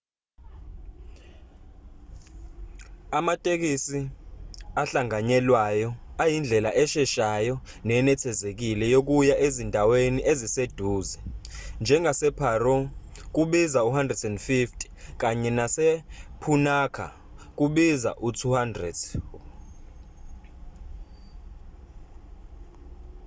amatekisi ahlanganyelwayo ayindlela esheshayo nenethezekile yokuya ezindaweni eziseduze njengase-paro nu 150 kanye nase-punakha nu 200